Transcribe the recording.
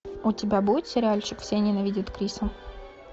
у тебя будет сериальчик все ненавидят криса